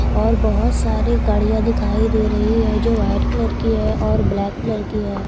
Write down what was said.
और बहुत सारी गाड़ियां दिखाई दे रही है जो वाइट कलर की है और ब्लैक कलर की है।